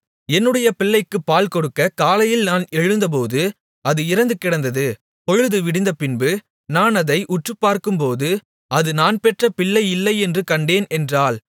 என்னுடைய பிள்ளைக்குப் பால்கொடுக்கக் காலையில் நான் எழுந்தபோது அது இறந்து கிடந்தது பொழுது விடிந்தபின்பு நான் அதை உற்றுப்பார்க்கும்போது அது நான் பெற்ற பிள்ளை இல்லை என்று கண்டேன் என்றாள்